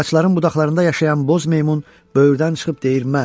Ağacların budaqlarında yaşayan boz meymun böyürdən çıxıb deyir mən.